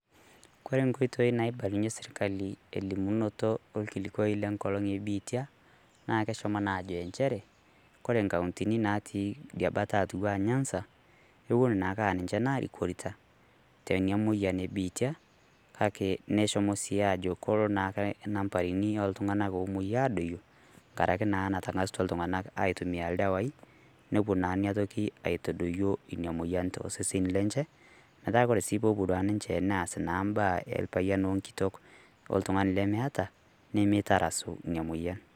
Kore nkotoi naibalunye sirikali elimunoto o kilikwoi le nkolong e bitia, naa keshomoo naa ajo ncheere kore nkautini natii dia baata atua nyanza kewuen naake aa ninchee nairikorita tenia moyian e biitia. Kaki neshomoo si ajo koloo naake nambarrini oltung'anak omoyia adooyo kang'araki naa naitarang'asutua ltung'ana aitumia ldewai nopoo naa enia ntoki atodooyo enia moyian to osesen lenchee. Meetai kore sii po opo duake ninchee neas naa baaya elpayian o nkitok o ltung'ani lemeeta nemeitarasu nia moyian.